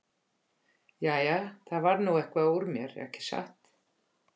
Jæja, það varð nú eitthvað úr mér, ekki satt?